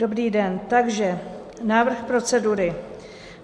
Dobrý den, takže návrh procedury.